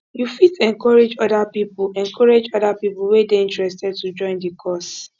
you fit encourage oda pipo encourage oda pipo wey dey interested to join the cause